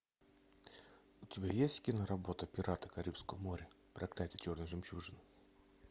у тебя есть киноработа пираты карибского моря проклятие черной жемчужины